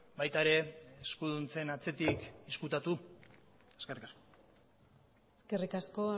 baita ere eskuduntzen atzetik ezkutatu eskerrik asko eskerrik asko